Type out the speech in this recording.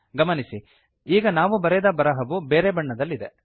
ಗಮನಿಸಿ ಈಗ ನಾವು ಬರೆದ ಬರಹವು ಬೇರೆ ಬಣ್ಣದಲ್ಲಿದೆ